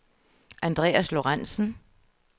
Andreas Lorenzen